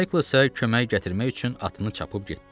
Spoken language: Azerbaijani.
Maykl isə kömək gətirmək üçün atını çapıb getdi.